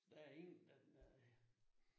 Der ingen der nej